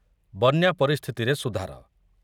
ବନ୍ୟା ପରିସ୍ଥିତିରେ ସୁଧାର